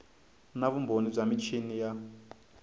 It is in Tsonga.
na vumbhoni bya michini ya